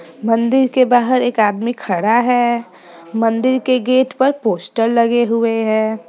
मंदिर के बाहर एक आदमी खड़ा है मंदिर के गेट पर एक पोस्टर लगे हुए हैं।